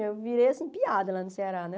Eu virei, assim, piada lá no Ceará, né?